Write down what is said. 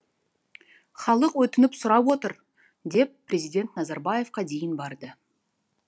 халық өтініп сұрап отыр деп президент назарбаевқа дейін барды